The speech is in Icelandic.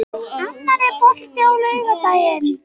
Annar, er bolti á laugardaginn?